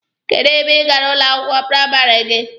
Kedụ ebe ị gara ụlọ akwụkwọ praịmarị gị?